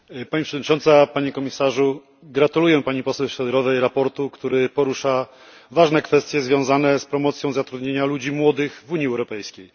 Pani Przewodnicząca, Panie Komisarzu! Gratuluję Pani Poseł Šojdrovej sprawozdania, które porusza ważne kwestie związane z promocją zatrudnienia ludzi młodych w Unii Europejskiej.